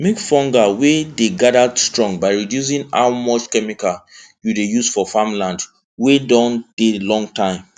make fungal wey dey together strong by reducing how much chemical you dey use for farm land wey don dey long time